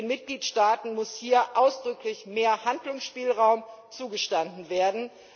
Den Mitgliedstaaten muss hier ausdrücklich mehr Handlungsspielraum zugestanden werden.